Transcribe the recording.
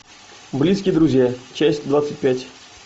близкие друзья часть двадцать пять